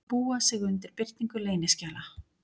Búa sig undir birtingu leyniskjala